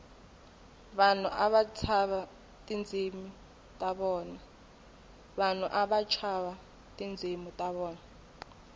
vanhu ava tshava tindzimu ta vona